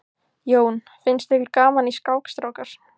Jón: Finnst ykkur gaman í skák strákar?